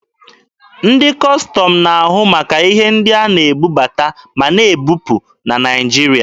Ndị Kọstọm na-ahụ maka ihe ndị a na-ebubata ma na-ebupụ na Naịjirịa.